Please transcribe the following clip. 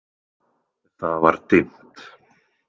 Það var dimmt.